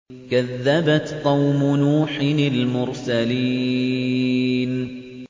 كَذَّبَتْ قَوْمُ نُوحٍ الْمُرْسَلِينَ